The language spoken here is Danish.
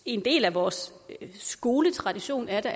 en del af vores skoletradition er da